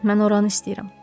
Mən oranı istəyirəm.